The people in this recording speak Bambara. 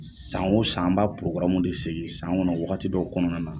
San o san, an b'a de sigi san kɔnɔ, wagati dɔ kɔnɔna na.